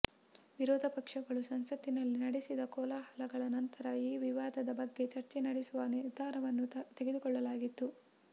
ವಿರೋಧಪಕ್ಷಗಳು ಸಂಸತ್ತಿನಲ್ಲಿ ನಡೆಸಿದ ಕೋಲಾಹಲಗಳ ನಂತರ ಈ ವಿವಾದದ ಬಗ್ಗೆ ಚರ್ಚೆ ನಡೆಸುವ ನಿರ್ಧಾರವನ್ನು ತೆಗೆದುಕೊಳ್ಳಲಾಗಿತ್ತು